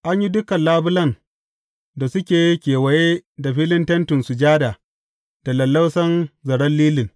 An yi dukan labulan da suke kewaye da filin Tentin Sujada da lallausan zaren lilin.